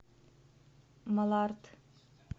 малард